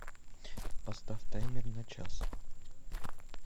поставь таймер на час